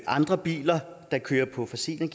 andre biler der kører på fossile